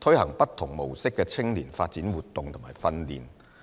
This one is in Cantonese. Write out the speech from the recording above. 推行不同模式的青年發展活動和訓練。